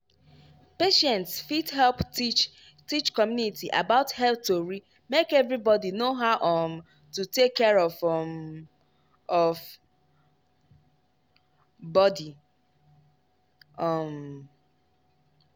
patients fit help teach teach community about health tori make everybody know how um to take care um of body. um